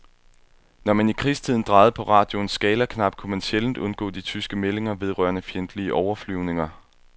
Når man i krigstiden drejede på radioens skalaknap, kunne man sjældent undgå de tyske meldinger vedrørende fjendtlige overflyvninger.